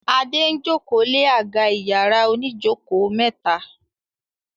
Ade ń joko lẹ àga iyàrá òní joko mẹta.